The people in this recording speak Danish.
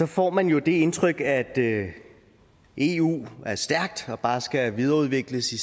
får man jo det indtryk at eu er stærkt og bare skal videreudvikles i